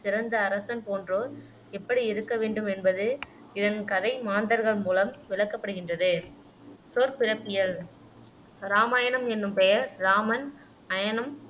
சிறந்த அரசன் போன்றோர் எப்படி இருக்கவேண்டும் என்பது இதன் கதை மாந்தர்கள் மூலம் விளக்கப்படுகின்றது சொற்பிறப்பியல் இராமாயணம் என்னும் பெயர் இராமன் அயனம்